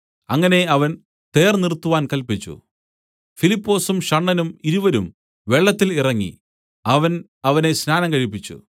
അങ്ങനെ അവൻ തേർ നിർത്തുവാൻ കല്പിച്ചു ഫിലിപ്പൊസും ഷണ്ഡനും ഇരുവരും വെള്ളത്തിൽ ഇറങ്ങി അവൻ അവനെ സ്നാനം കഴിപ്പിച്ചു